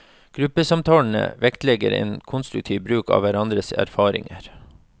Gruppesamtalene vektlegger en konstruktiv bruk av hverandres erfaringer.